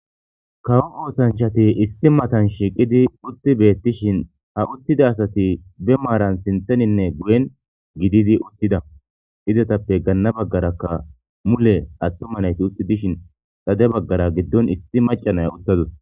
Kawo ootanchati issi matan shiqidi utti beettishin ha uttida asati be maaran sinteninne guyen gididi uttida izetappe ganna baggarakka mule attumanayti utti dishin xade baggara giddon issi macanay uttadus.